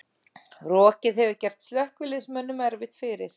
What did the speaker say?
Rokið hefur gert slökkviliðsmönnum erfitt fyrir